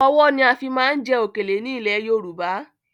Ọwọ́ ni a fi máa ń jẹ òkèlè ni ilẹ̀ Yorùbá